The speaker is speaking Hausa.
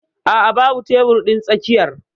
A'a babu tebur din tsakiyar.